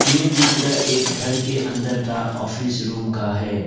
ये चित्र एक घर के अंदर का ऑफिस रूम का है।